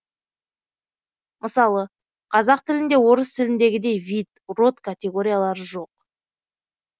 мысалы қазақ тілінде орыс тіліндегідей вид род категориялары жоқ